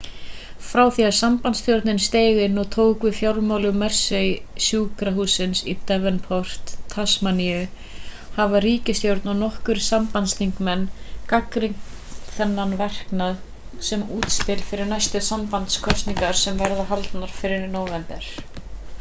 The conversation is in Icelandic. frá því að sambandsstjórnin steig inn og tók við fjármögnun mersey-sjúkrahússins í devonport tasmaníu hafa ríkisstjórnin og nokkrir sambandsþingmenn gagnrýnt þennan verknað sem útspil fyrir næstu sambandskosningar sem verða haldnar fyrir nóvember